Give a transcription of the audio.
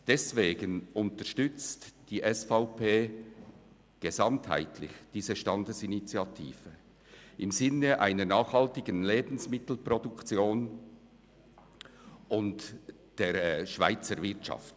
Deswegen unterstützt die SVP gesamtheitlich diese Standesinitiative im Sinn einer nachhaltigen Lebensmittelproduktion und der Schweizer Wirtschaft.